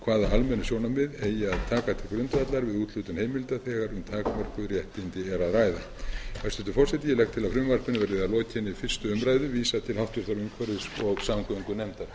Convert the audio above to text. hvaða almennu sjónarmið eigi að taka til grundvallar við úthlutun heimilda þegar um takmörkuð réttindi er að ræða hæstvirtur forseti ég legg til að frumvarpinu verði að lokinni fyrstu umræðu vísað til háttvirtrar umhverfis og samgöngunefndar